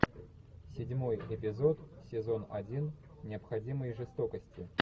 седьмой эпизод сезон один необходимые жестокости